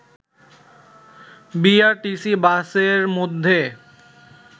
BRTC বাসের মধ্যে